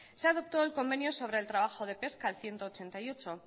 se adoptó el convenio sobre el trabajo de pesca el ciento ochenta y ocho